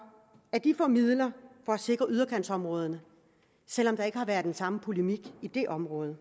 at de får midler for at sikre udkantsområderne selv om der ikke har været den samme polemik i det område